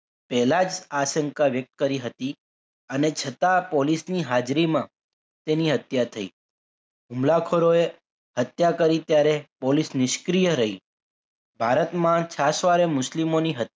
પહેલા જ આશંકા વ્યક્ત કરી હતી અને છતાં પોલીસની હાજરીમાં તેની હત્યા થઈ હુમલાખોરોએ હત્યા કરી ત્યારે પોલીસ નિષ્ક્રિય રહી ભારતમાં છાસવારે મુસ્લિમોની હ